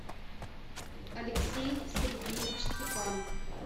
алексей сергеевич степанов